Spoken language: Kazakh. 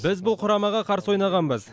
біз бұл құрамаға қарсы ойнағанбыз